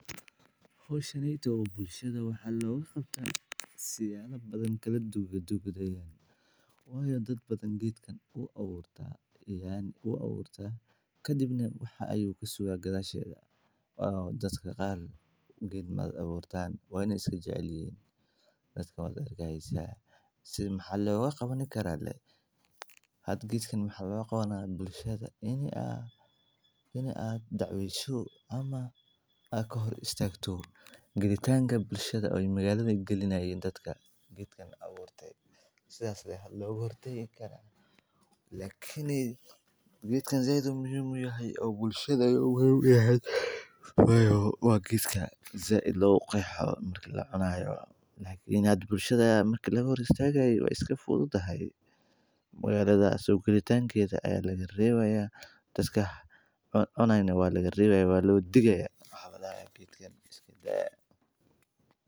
Howshaneeytow waxa bulshada looga qabtaa siyaabo kala duduwan. Beerista canabka waa mid fara badan oo nafaqo leh, taasi oo ay ku haboon tahay deegaano qalalan iyo mid roobab badanba, waana mid ka mid ah khudaarta ugu faa’iidada badan ee lagu beero goobaha qaarada Afrika, gaar ahaan wadamada Soomaalida, Itoobiya, iyo Kenya, sababtoo ah canabku wuxuu u baahan yahay cimilo kulul iyo qorrax badan, isla markaana uu ku noolaan karo biyo yar, waxaana lagu daraa dhulka oo la isku filayo inay ka soo baxaan midho macaan oo wanaagsan marka la ilaaliyo cudurrada iyo xayawaanka ka dica canabka sida dafaalaha, dudinimada, iyo carmada, waxaana loo adeegsadaa si badan si loogu sameeyo macmacaan.